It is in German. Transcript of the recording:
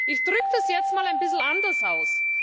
Ich drücke das jetzt mal ein bisschen anders aus.